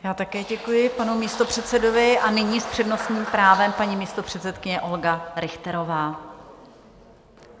Já také děkuji panu místopředsedovi a nyní s přednostním právem paní místopředsedkyně Olga Richterová.